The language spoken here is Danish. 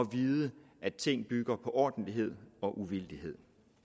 vide at ting bygger på ordentlighed og uvildighed